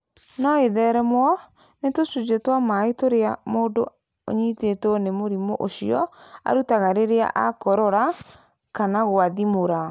No ĩtheremwo nĩ tũcunjĩ twa maaĩ tũrĩa mũndũ ũnyitĩtwo nĩ mũrimũ ũcio arutaga rĩrĩa akorora kana gwathimura.